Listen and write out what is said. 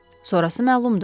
Sonrası məlumdur.